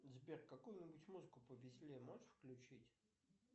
сбер какую нибудь музыку повеселее можешь включить